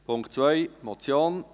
Punkt 2 als Motion: